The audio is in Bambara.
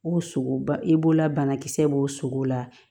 O sogo e b'o la banakisɛ b'o sogo la